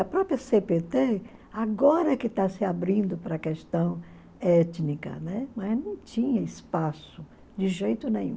A própria cê pê tê, agora que está se abrindo para a questão étnica, né, não tinha espaço de jeito nenhum.